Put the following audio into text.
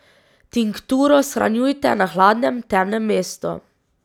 Tinkturo shranjujte na hladnem, temnem mestu.